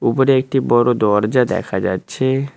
উপরে একটি বড় দরজা দেখা যাচ্ছে।